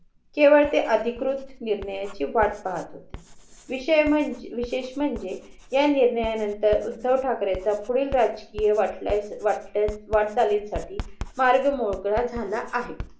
केवळ ते अधिकृत निर्णयाचे वाट पाहत होते. विषय मंजे विशेष म्हणजे या निर्णयानंतर उद्धव ठाकरे चा पुढील राजकीय वाटचालीं साठी मार्ग मोकळा झाला आहे.